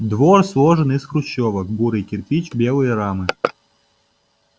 двор сложен из хрущёвок бурый кирпич белае рамы